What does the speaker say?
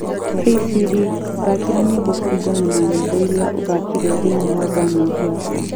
hey siri, thaakira nyimbo k ũringana na nyimbo ria ũthakiire thĩinĩ wa gaana app yakwa